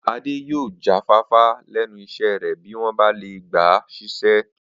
Adé yóò jáfáfá lé̩nu is̩é̩ rè̩ bí wó̩n bá lè gbà á sís̩é̩